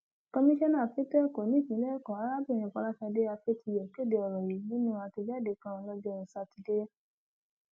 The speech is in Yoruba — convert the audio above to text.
komisanna fẹtọ ẹkọ nípìnlẹ ẹkọ arábìnrin fọlásadé afetíyọ kéde ọrọ yìí nínú àtẹjáde kan lọjọ sátidé